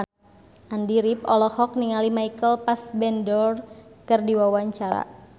Andy rif olohok ningali Michael Fassbender keur diwawancara